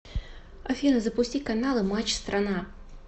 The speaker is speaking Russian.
афина запусти каналы матч страна